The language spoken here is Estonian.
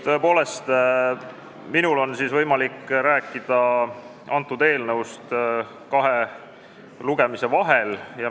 Tõepoolest, minul on võimalik rääkida, mis toimus antud eelnõuga kahe lugemise vahel.